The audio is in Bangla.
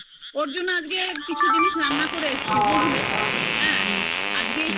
ওর জন্য আজকে কিছু জিনিস রান্না করে রেখেছি বুঝলে হ্যা আজকে